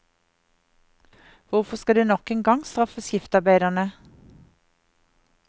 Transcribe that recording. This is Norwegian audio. Hvorfor skal de nok en gang straffe skiftarbeiderne?